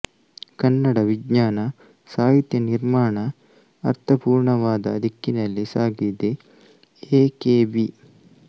ಕನ್ನಡ ವಿಜ್ಞಾನ ಸಾಹಿತ್ಯ ನಿರ್ಮಾಣ ಅರ್ಥಪುರ್ಣವಾದ ದಿಕ್ಕಿನಲ್ಲಿ ಸಾಗಿದೆ ಎ ಕೆ ಬಿ